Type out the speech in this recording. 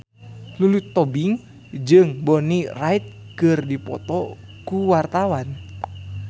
Lulu Tobing jeung Bonnie Wright keur dipoto ku wartawan